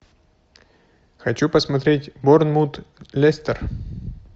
хочу посмотреть борнмут лестер